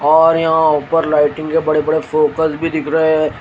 और यहां ऊपर लाइटिंग के बड़े बड़े फोकस भी दिख रहे है।